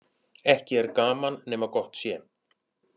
Ekki er gaman nema gott sé.